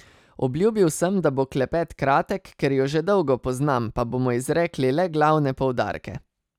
Obljubil sem, da bo klepet kratek, ker ju že dolgo poznam, pa bomo izrekli le glavne poudarke.